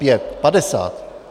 Pět, padesát...